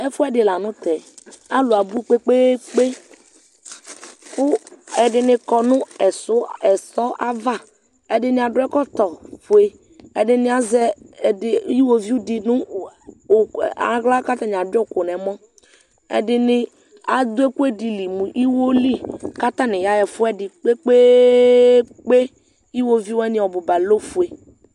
Ɛfʋɛdi lanʋ tɛ alʋ abʋ kpe kpe kpe kʋ ɛdini kɔnʋ ɛsɔ ava ɛdini adʋ ɛkɔtɔfue ɛdini azɛ iwoviu di nʋ aɣla kʋ atani adʋyi ʋkʋ nʋ ɛmɔ ɛdini adʋ ɛkʋɛdili mʋ iwoli kʋ atani yaxz ɛfʋɛdi kpe kpe kpe iwviu wani ɔbʋ ba lɛ ofue